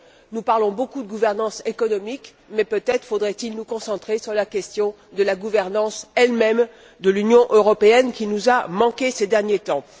Nous parlons beaucoup de gouvernance économique, mais peut être faudrait il nous concentrer sur la question de la gouvernance elle même de l'Union européenne qui nous a manqué ces derniers temps.